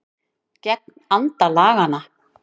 Gegn anda laganna